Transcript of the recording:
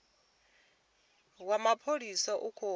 wa mapholisa u khou edzisa